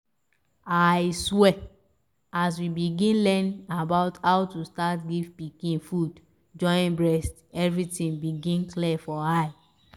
i swear as we begin learn about how to start give pikin food join breast everything begin clear for eye